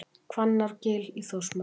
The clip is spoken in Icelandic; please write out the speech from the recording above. Hvannárgil í Þórsmörk.